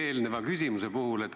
eelnevale küsimusele vastata.